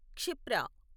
Kshipra